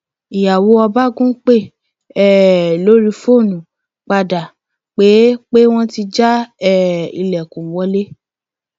ìyàwó ọbagun pè um lórí fóònù padà pé pé wọn ti já um ilẹkùn wọlé